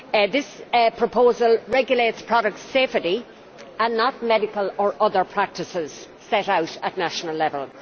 This proposal regulates products' safety, and not medical or other practices set out at national level.